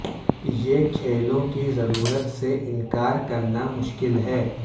یہ کھیلوں کی ضرورت سے انکار کرنا مشکل ہے